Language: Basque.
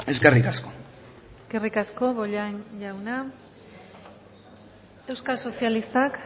eskerrik asko eskerrik asko bollain jauna euskal sozialistak